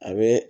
A bɛ